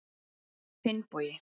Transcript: Finnbogi